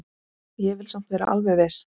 Ég vil samt vera alveg viss.